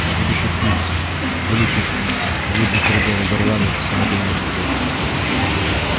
а тут ещё пивз вылетит в людный коридор и горланит самодельные куплеты